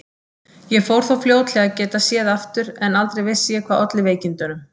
Ég fór þó fljótlega að geta séð aftur en aldrei vissi ég hvað olli veikindunum.